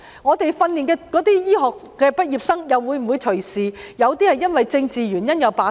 我們訓練出來的醫科畢業生又會否隨時因為政治原因而罷工？